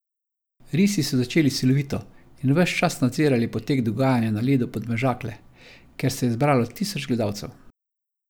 Risi so začeli silovito in ves čas nadzirali potek dogajanja na ledu Podmežakle, kjer se je zbralo tisoč gledalcev.